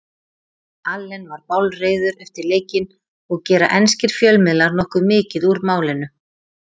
Allen var bálreiður eftir leikinn og gera enskir fjölmiðlar nokkuð mikið úr málinu.